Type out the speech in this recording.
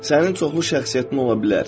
Sənin çoxlu şəxsiyyətin ola bilər.